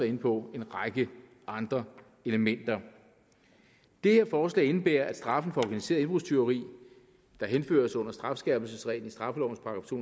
inde på en række andre elementer det her forslag indebærer at straffen for organiseret indbrudstyveri der henføres under strafskærpelsesreglen i straffelovens § to